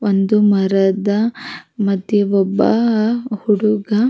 ಒಂದು ಮರದ ಮತ್ತಿ ಒಬ್ಬ ಅಹ್ ಹುಡುಗ--